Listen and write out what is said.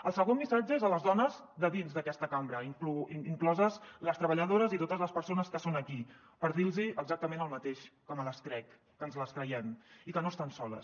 el segon missatge és per a les dones de dins d’aquesta cambra incloses les treballadores i totes les persones que són aquí per dir los exactament el mateix que me les crec que ens les creiem i que no estan soles